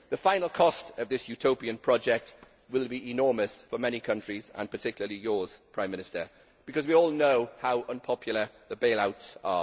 The final cost of this utopian project will be enormous for many countries, and particularly for yours, Prime Minister, because we all know how unpopular the bailouts are.